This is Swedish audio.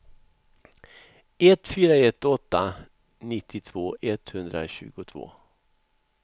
ett fyra ett åtta nittiotvå etthundratjugotvå